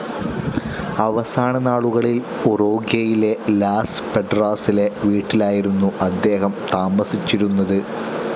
അവസാന നാളുകളിൽ ഉറൂഗ്വേയിലെ ലാസ്‌ പെഡ്രാസിലെ വീട്ടിലായിരുന്നു അദ്ദേഹം താമസിച്ചിരുന്നത്.